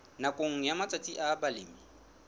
nakong ya matsatsi a balemi